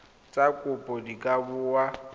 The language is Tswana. tsa kopo di ka bonwa